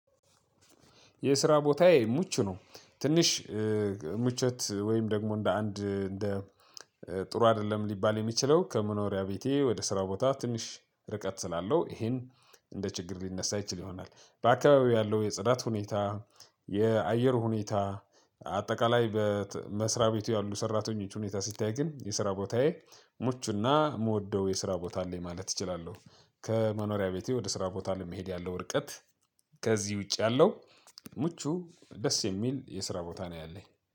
የስራ ቦታዬ ምቹ ነው ትንሽ ምቾት ወይም ደግሞ እንደ አንድ እንደ ጥሩ አይደለም ሊባል የሚችለው ከመኖሪያ ቤቴ ወደ ስራ ቦታ ትንሽ ርቀት ስላለው ይሄን እንደ ችግር ሊነሳ ይችል ይሆናል። በአካባቢው ያለው የጽዳት ሁኔታ፣ የአየር ሁኔታ አጠቃላይ በመስሪያ ቤቱ ያሉ ሰራተኞች ሁኔታ ሲታይ ግን የስራ ቦታዬ ምቹ እና የምወደው የስራ ቦታ አለኝ ማለት እችላለሁ። ከመኖሪያ ቤቴ ወደ ስራ ቦታ ለመሄድ ያለው ውርቀት ከዚህ ውጭ ያለው ምቹ ደስ የሚል የስራ ቦታ ነው ያለኝ